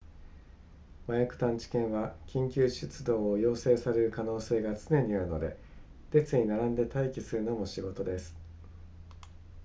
麻薬探知犬は緊急出動を要請される可能性が常にあるので列に並んで待機するのも仕事です